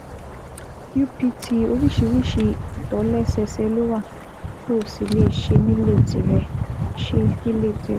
UPT oríṣiríṣi ìtòlẹ́sẹẹsẹ ló wà tó o sì lè ṣe nílé tìrẹ ṣe nílé tìrẹ